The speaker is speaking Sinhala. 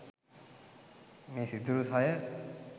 මේ සිදුරු සය